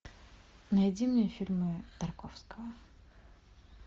найди мне фильмы тарковского